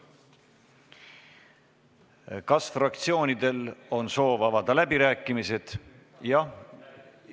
Kas fraktsioonidel on soovi avada läbirääkimisi?